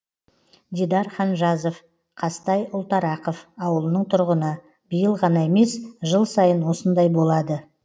дидар ханжазов қазтай ұлтарақов ауылының тұрғыны биыл ғана емес жыл сайын осындай болады